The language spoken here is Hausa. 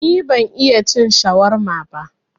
Ni ban iya cin shawarma ba